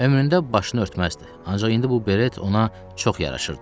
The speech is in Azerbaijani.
Ömründə başını örtməzdi, ancaq indi bu biret ona çox yaraşırdı.